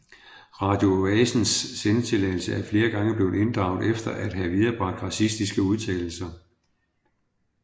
Radio Oasens sendetilladelse er flere gange blevet inddraget efter at have viderebragt racistiske udtalelser